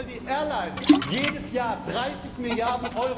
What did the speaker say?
Und weil die Airlines jedes Jahr 30 Mrd.